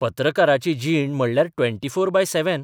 पत्रकाराची जीण म्हणल्यार 24/7.